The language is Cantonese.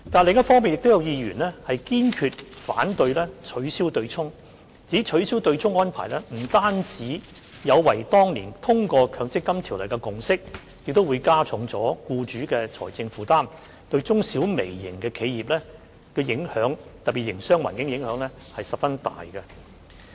另一方面，亦有議員堅決反對，指取消對沖安排不但有違當年通過《強制性公積金計劃條例草案》的共識，亦會加重僱主的財政負擔，對中、小和微型企業，特別是營商環境有很大影響。